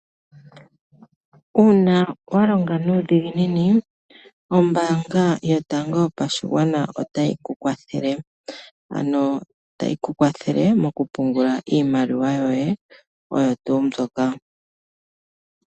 Uuna walonga nuudhiginini ombaanga yotango yopashigwana otayi tukwathele ano tayi kukwathele moku pungula iimaliwa yoye oyo tuu mbyoka.